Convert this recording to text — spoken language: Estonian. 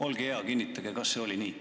Olge hea, kinnitage, kas see oli nii.